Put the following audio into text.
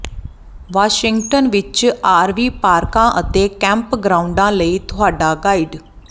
Washington ਵਿਚ RV ਪਾਰਕਾਂ ਅਤੇ ਕੈਂਪਗ੍ਰਾਉਂਡਾਂ ਲਈ ਤੁਹਾਡਾ ਗਾਈਡ